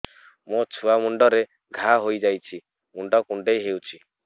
ମୋ ଛୁଆ ମୁଣ୍ଡରେ ଘାଆ ହୋଇଯାଇଛି ମୁଣ୍ଡ କୁଣ୍ଡେଇ ହେଉଛି